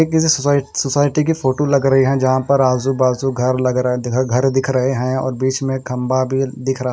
किसी सोसाइट सोसाइटी की फोटो लग रही है जहां पर आजूबाजू घर लग रहा है घर दिख रहे हैं और बीच में खंबा भी दिख रहा--